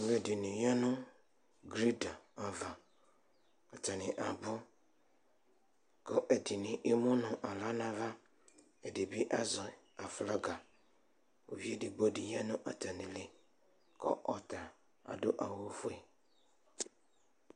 Alʋɛdini yanʋ bredz ava, atani abʋ, kʋ ɛdini emʋnʋ aɣla nʋ ava, ɛdibi azɛ aflaga, ʋvi edigbo di yanʋ atami ili kʋ ɔta adʋ awʋfue